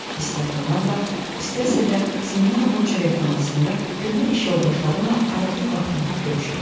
İstər onlarla, istərsə də Semyonovun çörəkxanasında köhnə iş yoldaşlarımla ara-bir vaxt tapıb görüşürdüm.